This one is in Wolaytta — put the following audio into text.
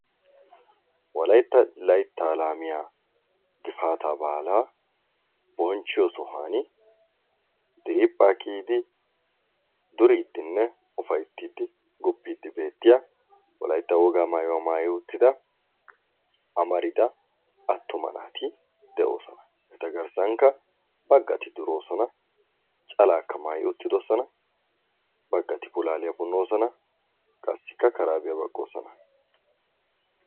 wolaytta laytta laamiyaa gifaataa baalaa bonchiyoo sohuwaan diriiphphaa kiyiidi ufaayttidi guppiiddi beettiyaa wolaytta wogaa maayuwaa maayi uttida amarida attumma naati de'oosona. eta garssankka baggati duroosona, calaakka maayi uttidoosona, baggati puulaaliyaa punnoosona qassikka karaabbiyaa baqqoosona.